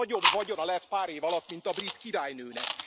Nagyobb vagyona lett pár év alatt, mint a brit királynőnek.